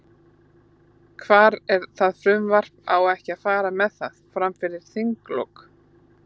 Hvar er það frumvarp, á ekki að fara með það, fram fyrir þinglok?